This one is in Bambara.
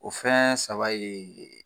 O fɛn saba ye